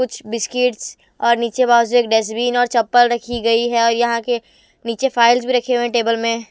कुछ बिस्किट्स और नीचेवाल बाजू एक डस्टबिन और चप्पल रखी गई है और यहां के नीचे फाइल्स भी रखे हुए हैं टेबल में।